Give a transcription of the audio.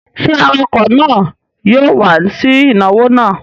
Ṣé awakọ̀ náà yóò wá sí ìnáwó náà?